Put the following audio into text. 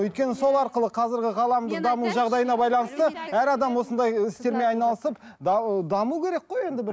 өйткені сол арқылы қазіргі ғаламды даму жағдайына байланысты әр адам осындай істермен айналысып даму керек қой енді бір